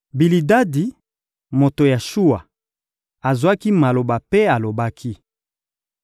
Bilidadi, moto ya Shuwa, azwaki maloba mpe alobaki: